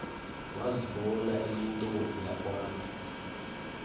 wazibona eyintombi yakwantu